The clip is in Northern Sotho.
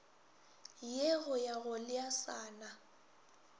ye go ya go leasana